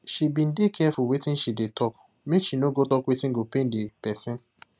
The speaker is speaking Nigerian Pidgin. she been dey careful wetin she dey talk make she no go tak wetin go pain the person